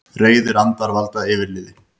Reiðir andar valda yfirliði